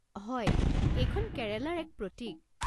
হয়, এইখন কেৰেলাৰ এক প্ৰতীক।